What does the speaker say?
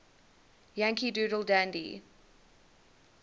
yankee doodle dandy